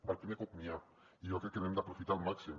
per primer cop n’hi ha i jo crec que l’hem d’aprofitar al màxim